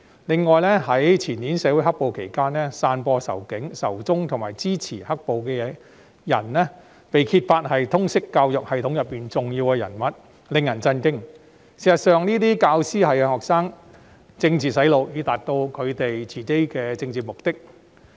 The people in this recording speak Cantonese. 此外，在前年"黑暴"期間，更有人揭發一些散播仇警、仇中信息及支持"黑暴"的人，是通識教育系統的重要人物，真是令人震驚這些教師對學生進行政治"洗腦"，從而達到他們的政治目的。